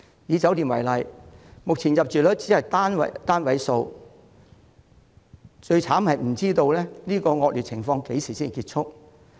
以酒店業為例，目前入住率只有單位數，而最糟的是這種惡劣情況不知道何時才結束。